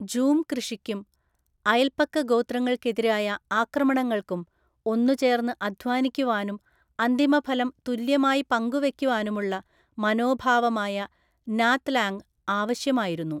Zoom കൃഷിക്കും, അയൽപക്കഗോത്രങ്ങൾക്കെതിരായ ആക്രമണങ്ങൾക്കും, ഒന്നുചേർന്ന് അധ്വാനിക്കുവാനും അന്തിമഫലം തുല്യമായി പങ്കുവെക്കുവാനുമുള്ള മനോഭാവമായ നാത്ലാങ് ആവശ്യമായിരുന്നു.